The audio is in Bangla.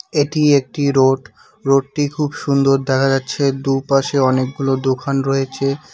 এটি একটি রোড রোডটি খুব সুন্দর দেখা যাচ্ছে দুপাশে অনেকগুলো দোকান রয়েছে।